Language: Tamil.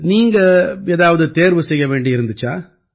நீங்க ஏதாவது தேர்வு செய்ய வேண்டி இருந்திச்சா